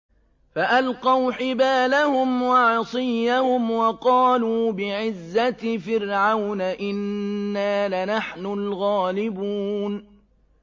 فَأَلْقَوْا حِبَالَهُمْ وَعِصِيَّهُمْ وَقَالُوا بِعِزَّةِ فِرْعَوْنَ إِنَّا لَنَحْنُ الْغَالِبُونَ